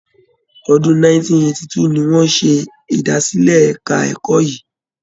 Ọdún 1982 ni wọ́n ṣe ìdásílẹ̀ ẹ̀ka ẹ̀kọ́ yìí.